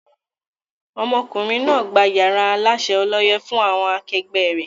Ọmọkùnrin náà gbà yàrá Aláṣẹ ọlọ́yẹ́ fún àwọn akẹgbẹ́ ré.